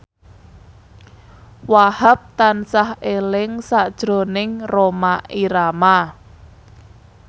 Wahhab tansah eling sakjroning Rhoma Irama